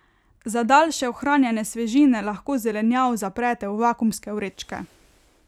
Za daljše ohranjanje svežine lahko zelenjavo zaprete v vakuumske vrečke.